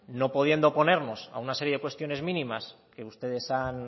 no pudiendo oponernos a una serie de cuestiones mínimas que ustedes